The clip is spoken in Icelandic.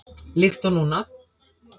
Líkt og núna.